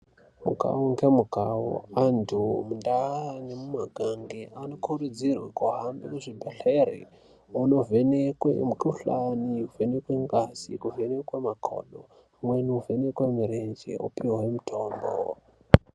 Mukawu ngemukawu antu mundaa nemumakange anokurudzirwe kuhambe kuzvibhedhlere onovhekwe mukuhlani, kuvhenekwe ngazi, kuvhenekwa makodo pamweni kuvhenekwe mirenje opihwe mitombo.